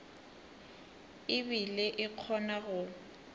e bile e kgona go